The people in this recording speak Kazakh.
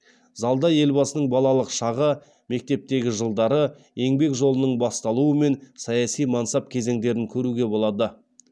залда елбасының балалық шағы мектептегі жылдары еңбек жолының басталуы мен саяси мансап кезеңдерін көруге болады